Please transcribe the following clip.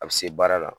A bɛ se baara la